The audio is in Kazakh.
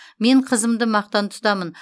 мен қызымды мақтан тұтамын